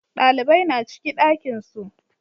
Ɗalibai na ciki ɗakin su